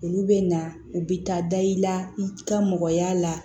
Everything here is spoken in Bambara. Olu bɛ na u bɛ taa da i la i ka mɔgɔ y'a la